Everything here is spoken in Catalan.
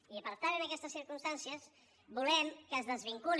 i per tant en aquestes circumstàncies volem que es desvinculi